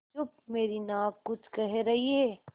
चुप मेरी नाक कुछ कह रही है